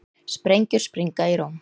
Sprengjur springa í Róm